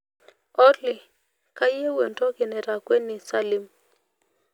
olly kayieu entoki naitakweni salim